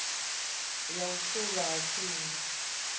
ya u fulwa ha tsimbi